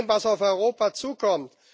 Vor dem, was auf Europa zukommt.